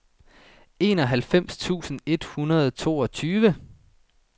enoghalvfems tusind et hundrede og toogtyve